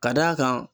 Ka d'a kan